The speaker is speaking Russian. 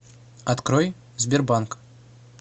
открой сбербанк